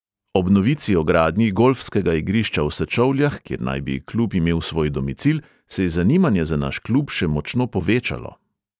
Ob novici o gradnji golfskega igrišča v sečovljah, kjer naj bi klub imel svoj domicil, se je zanimanje za naš klub še močno povečalo.